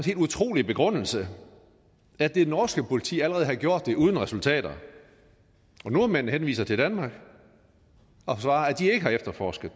helt utrolige begrundelse at det norske politi allerede havde gjort det uden resultater nordmændene henviser til danmark og svarer at de ikke har efterforsket